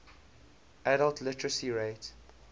adult literacy rate